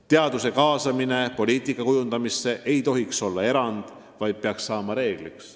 Teaduse kaasamine poliitika kujundamisse ei tohiks olla erand, vaid peaks saama reegliks.